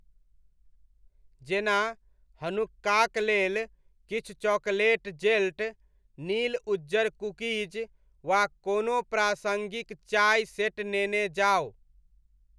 जेना, हनुक्काक लेल किछु चॉकलेट जेल्ट, नील उज्जर कुकीज, वा कोनो प्रासङ्गिक चाय सेट नेने जाउ।